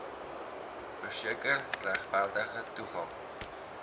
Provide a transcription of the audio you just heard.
verseker regverdige toegang